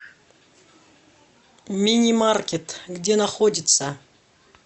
мини маркет где находится